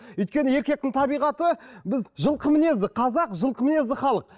өйткені еркектің табиғаты біз жылқы мінезді қазақ жылқы мінезді халық